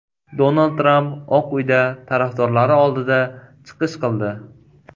Donald Tramp Oq uyda tarafdorlari oldida chiqish qildi.